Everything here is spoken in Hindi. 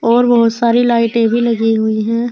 और बहुत सारी लाइटें भी लगी हुई हैं।